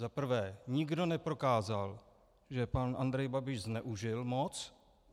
Za prvé, nikdo neprokázal, že pan Andrej Babiš zneužil moc.